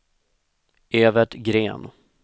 Evert Gren